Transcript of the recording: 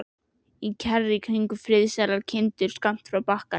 Kjarr í kring, og friðsælar kindur skammt frá bakkanum.